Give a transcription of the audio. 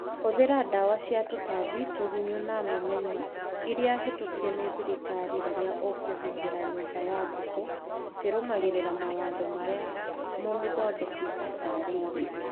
Hũthĩra ndawa cia tũtambi (tũgunyũ na memenyi) iria hĩtũkie nĩ thirikari rĩrĩa ũkũhuhĩra nyũmba ya ngũkũ ũkĩrũmagĩrĩra mawatho marĩa mũmĩthondeki atarĩirie.